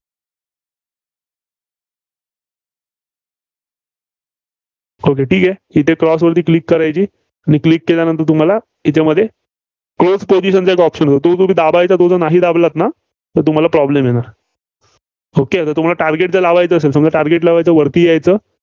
okay ठीक आहे. इथे Cross वरती Click करायचं आणि Click केल्यानंतर तुम्हाला याच्यामध्ये close position चा एक option येईल. तो जो तो जर नाही दाबलात तर तुम्हाला problem येणार okay तुम्हाला target जर लावायचं असेल समजा target लावायंच वरती यायचं